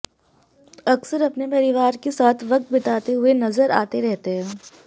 अक्सर अपने परिवार के साथ वक्त बिताते हुए नजर आते रहते हैं